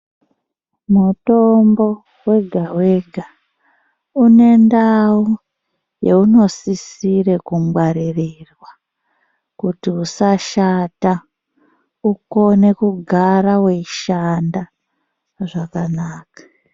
Mutombo wega wega une ndau yeunosisire kungwaririrwa kuti usashata, ukone kugara weishanda zvakanaka.